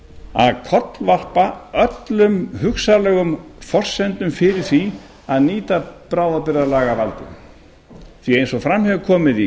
að kollvarpa öllum hugsanlegum forsendum fyrir því að nýta bráðabirgðalagavaldið því eins og fram hefur komið í